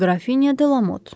Qrafinya De Lamot.